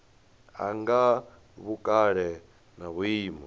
ya nga vhukale na vhuimo